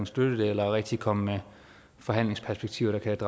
støtte det eller rigtig at komme med forhandlingsperspektiver der kan